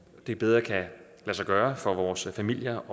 det bedre kan lade sig gøre for vores familier